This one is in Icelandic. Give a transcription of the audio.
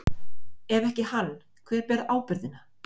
Ef ekki hann, hver ber ábyrgðina?